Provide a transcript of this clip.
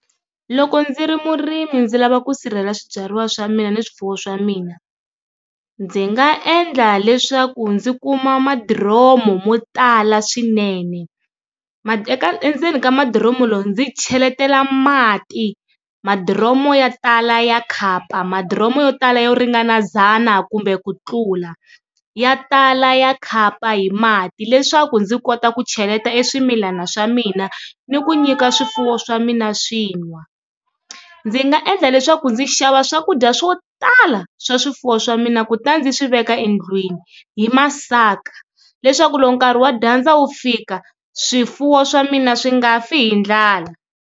Loko ndzi ri murimi ndzi lava ku sirhela swibyariwa swa mina ni swifuwo swa mina ndzi nga endla leswaku ndzi kuma ma diromo mo tala swinene ma endzeni ka madoromo lowu ndzi cheletela mati madoromo ya tala ya khapa madoromo yo tala yo ringana ndzhana kumbe ku tlula ya tala ya khapa hi mati leswaku ndzi kota ku cheleta swimilana swa mina ni ku nyika swifuwo swa mina swintshwa, ndzi nga endla leswaku ndzi xava swakudya swo tala swa swifuwo swa mina ku ta ndzi swi veka endlwini hi masaka leswaku loko nkarhi wa dyandza wu fika swifuwo swa mina swi nga fi hi ndlala.